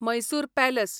Mysore palace